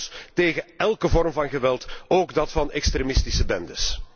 Ik ben trouwens tegen elke vorm van geweld, ook dat van extremistische bendes.